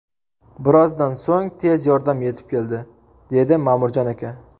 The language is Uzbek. Birozdan so‘ng tez yordam yetib keldi”, dedi Ma’murjon aka.